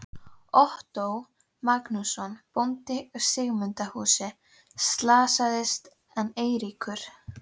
Ottó Magnússon, bóndi í Sigmundarhúsum, slasaðist en Eiríkur